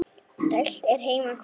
Dælt er heima hvað.